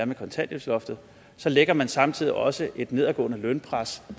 med kontanthjælpsloftet så lægger man samtidig også et nedadgående lønpres